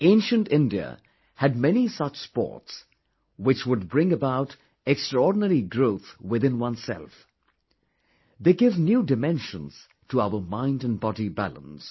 Ancient India had many such sports which would bring about extraordinary growth within oneself they give new dimensions to our mind and body balance